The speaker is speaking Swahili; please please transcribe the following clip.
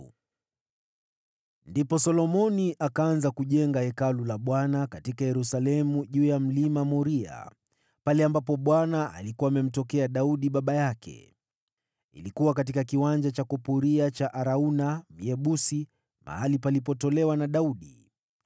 Ndipo Solomoni akaanza kujenga Hekalu la Bwana katika Yerusalemu juu ya Mlima Moria, pale ambapo Bwana alikuwa amemtokea Daudi baba yake. Ilikuwa katika kiwanja cha kupuria cha Arauna, Myebusi, mahali palipotolewa na Daudi.